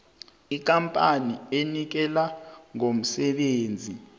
ikampani enikela ngomsebenzi